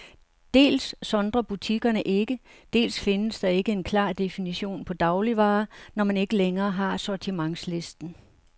Dels sondrer butikkerne ikke, dels findes der ikke en klar definition på dagligvarer, når man ikke længere har sortimentslisten.